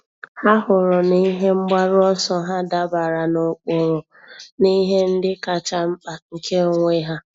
Há hụrụ na ihe mgbaru ọsọ ha dabara n’ụ́kpụ́rụ́ na ihe ndị kacha mkpa nke onwe ha.